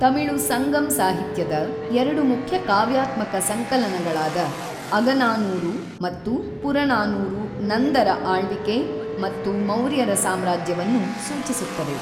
ತಮಿಳು ಸಂಗಮ್ ಸಾಹಿತ್ಯದ ಎರಡು ಮುಖ್ಯ ಕಾವ್ಯಾತ್ಮಕ ಸಂಕಲನಗಳಾದ ಅಗನಾನೂರು ಮತ್ತು ಪುರನಾನೂರು ನಂದರ ಆಳ್ವಿಕೆ ಮತ್ತು ಮೌರ್ಯರ ಸಾಮ್ರಾಜ್ಯವನ್ನು ಸೂಚಿಸುತ್ತವೆ.